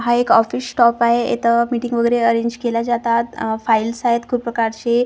हा एक office staff आहे इथं मिटिंग वगेरे अरेंज केला जातात आह फाईल्स आहेत खूप प्रकारची फॉर्म सबमिट --